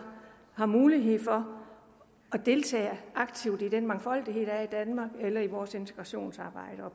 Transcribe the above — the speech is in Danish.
har mulighed for at deltage aktivt i den mangfoldighed der er i danmark eller i vores integrationsarbejde og